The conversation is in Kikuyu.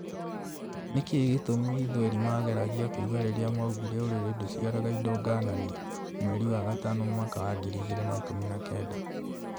Nĩkĩ gĩtũmi thweri mageragia kuga rĩrĩa maugire " ũrĩrĩ ndũciaraga indo ngananie", mweri wa gatano mwaka wa ngiri igĩrĩ na ikũmi na kenda